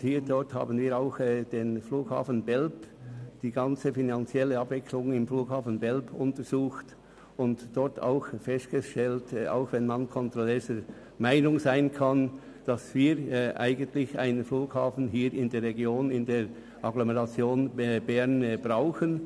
Wir haben diesbezüglich die finanziellen Abläufe im Zusammenhang mit dem Flughafen Belp untersucht und dabei trotz unterschiedlicher Meinungen gemeinsam festgestellt, dass wir einen Flughafen in der Region und Agglomeration Bern brauchen.